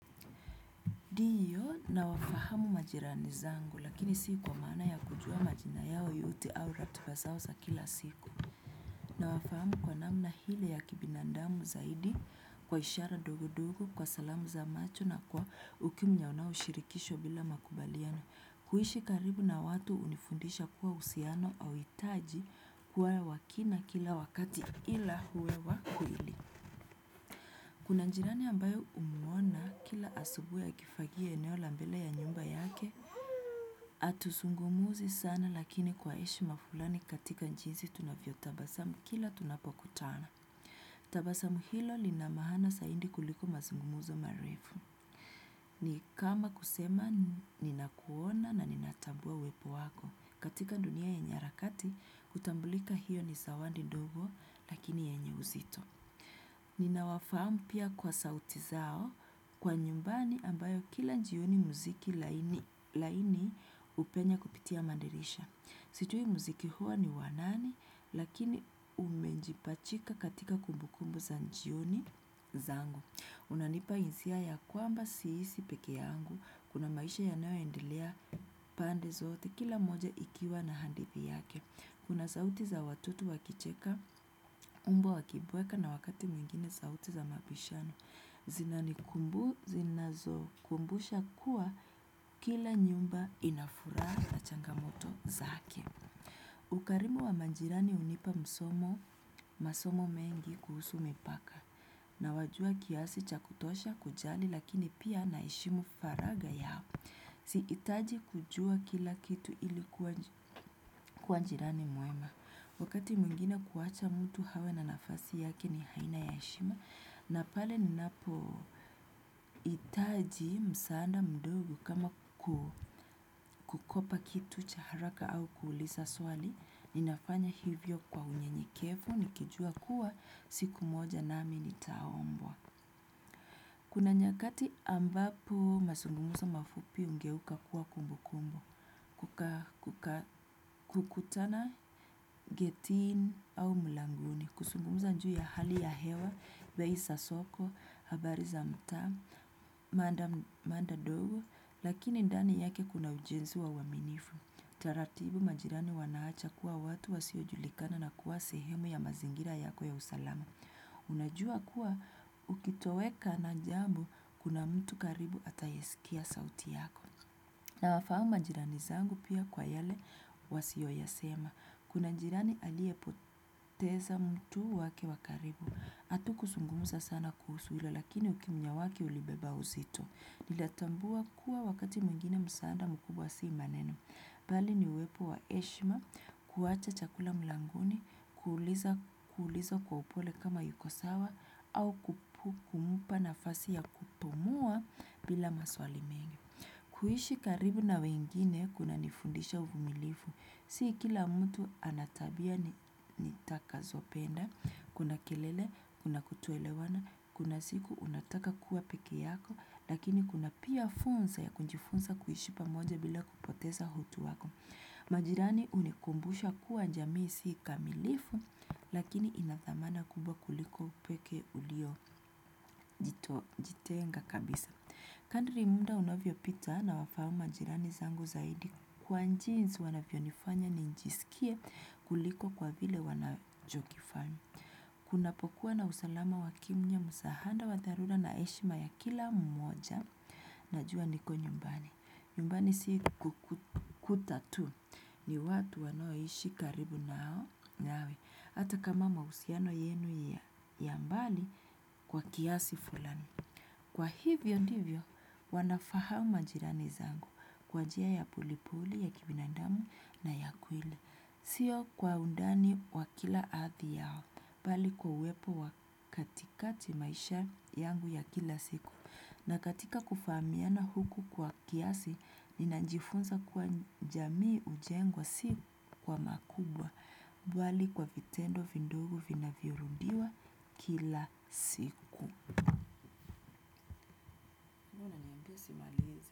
Ndiyo nawafahamu majirani zangu lakini si kwa mana ya kujua majina yao yote au ratiba zao za kila siku. Na wafahamu kwa namna ile ya kibinadamu zaidi kwa ishara ndogo ndogo, kwa salamu za macho na kwa ukimya unaoshirikishwa bila makubaliano. Kuishi karibu na watu hunifundisha kuwa uhusiano auhitaji kuwa wakina kila wakati ila uwe wa kweli. Kuna jirani ambayo humuona kila asubuhi akifagia eneo la mbele ya nyumba yake, atuzungumzi sana lakini kwa heshima fulani katika jinsi tunavyotabasamu kila tunapokutana. Tabasamu hilo lina maana zaidi kuliko mazungumzo marefu. Ni kama kusema ninakuona na ninatambua uwepo wako. Katika dunia yenye harakati, hutambulika hiyo ni zawandi ndogo lakini yenye uzito. Ninawafamu pia kwa sauti zao kwa nyumbani ambayo kila jioni muziki laini hupenya kupitia madirisha. Sijui muziki huo ni wa nani lakini umejipachika katika kumbukumbu za jioni zangu. Unanipa hisia ya kwamba siishi pekee yangu. Kuna maisha yanayoendelea pande zote kila moja ikiwa na hadithi yake. Kuna sauti za watoto wakicheka, mbwa wakibweka na wakati mwingine sauti za mabishano, zinazokumbusha kuwa kila nyumba ina furaha na changamoto zake. Ukarimu wa majirani hunipa msomo, masomo mengi kuhusu mipaka, nawajua kiasi cha kutosha kujali lakini pia naheshimu faragha yao. Sihitaji kujua kila kitu ilikuwa jirani mwema. Wakati mwingine kuacha mtu awe na nafasi yake ni aina ya heshima, na pale ninapo hitaji msaada mdogo kama kukopa kitu cha haraka au kuuliza swali, ninafanya hivyo kwa unyenyekevu, nikijua kuwa, siku moja nami nitaombwa. Kuna nyakati ambapo mazungumzo mafupi hugeuka kuwa kumbukumbu, kukutana getini au mlangoni, kuzungumza juu ua hali yahewa, bei za soko, habari za mtaa, mada ndogo, lakini ndani yake kuna ujenzi wa uaminifu. Taratibu majirani wanaacha kuwa watu wasiojulikana na kuwa sehemu ya mazingira yako ya usalama. Unajua kuwa ukitoweka na jambo kuna mtu karibu atayesikia sauti yako. Nawafahamu majirani zangu pia kwa yale wasiyoyasema. Kuna jirani aliepoteza mtu wake wa karibu. Hatukuzungumza sana kuhusu hilo lakini ukimya wake ulibeba uzito. Ninatambua kuwa wakati mwingine msaada mkubwa si maneno bali ni uwepo wa heshima, kuacha chakula mlangoni, kuuliza kwa upole kama yuko sawa, au kumpa nafasi ya kupumua bila maswali mengi. Kuishi karibu na wengine, kunanifundisha uvumilivu. Si kila mtu ana tabia nitakazopenda, kuna kelele, kuna kutoelewana, kuna siku unataka kuwa peke yako, lakini kuna pia fursa ya kujifunza kuishi pamoja bila kupoteza utu wako. Majirani hunikumbusha kuwa jamii kamilifu. Lakini ina dhamana kubwa kuliko upekee uliojitenga kabisa. Kadri muda unavyopita nawafahamu majirani zangu zaidi kwa jinsi wanavyonifanya nijisikie kuliko kwa vile wanachokifanya. Kunapokua na usalama wa kimya msaada wa dharura na heshima ya kila mmoja. Najua niko nyumbani, nyumbani si kukuta tu ni watu wanaoishi karibu nawe hata kama mahusiano yenu ya mbali kwa kiasi fulani kwa hivyo ndivyo, wanafahamu majirani zangu kwa njia ya polepole ya kibinadamu na ya kweli. Sio kwa undani wa kila hadhi yao, bali kwa uwepo wa katikati maisha yangu ya kila siku na katika kufahamiana huku kwa kiasi, ninajifunza kwa jamii hujengwa si kwa makubwa bali kwa vitendo vidogo vinavyorudiwa kila siku.